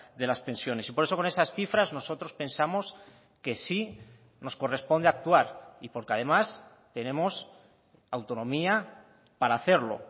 de las pensiones y por eso con esas cifras nosotros pensamos que sí nos corresponde actuar y porque además tenemos autonomía para hacerlo